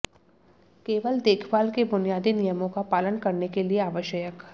केवल देखभाल के बुनियादी नियमों का पालन करने के लिए आवश्यक